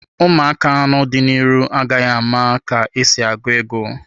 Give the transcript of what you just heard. Ụmụaka n'ọdịnihu agaghị ama ka esi agụ ego.